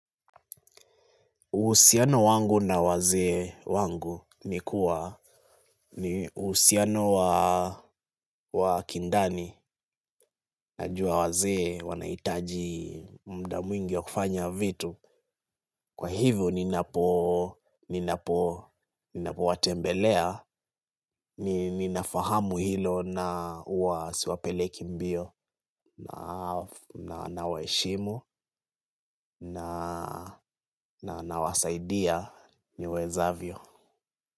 Uhusiano wangu na wazee wangu ni kuwa uhusiano wa kindani najua wazee wanahitaji muda mwingi ya kufanya vitu. Kwa hivyo ninapo watembelea, ninafahamu hilo na huwa siwapeleki mbio nawaheshimu na wasaidia niwezavyo.